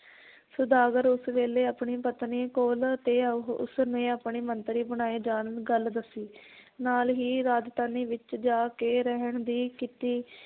ਸੁਦਾਗਰ ਉਸ ਵੇਲੇ ਆਪਣੀ ਪਤਨੀ ਕੋਲ ਤੇ ਉਹ, ਉਸਨੇ ਆਪਣੇ ਮੰਤਰੀ ਬਣਾਏ ਜਾਣ ਗੱਲ ਦੱਸੀ ਨਾਲ ਹੀ ਰਾਜਧਾਨੀ ਵਿਚ ਜਾ ਕੇ ਰਹਿਣ ਦੀ ਕੀਤੀ